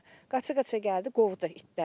Qaça-qaça gəldi, qovdu itləri.